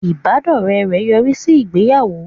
Ìbádọ́rẹ́ rẹ̀ yọrí sí ìgbéyàwó